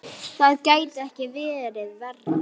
Það gæti ekki verið verra.